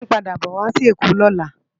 Jide npàdá bò wá si Ekó lòlá